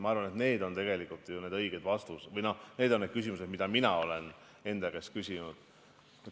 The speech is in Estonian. Ma arvan, et need on tegelikult ju need õiged küsimused, mida mina olen enda käest küsinud.